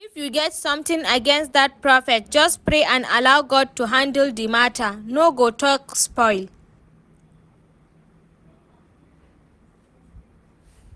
If you get something against dat Prophet, just pray and allow God to handle the matter, no go talk spoil